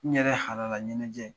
N ɲɛrɛ halala ɲɛnajɛ